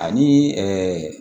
Ani ɛɛ